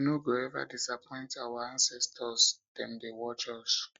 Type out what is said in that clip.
we no go eva disappoint our ancestors dem dey watch us